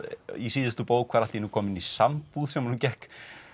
í síðustu bók var allt í einu kominn í sambúð sem honum gekk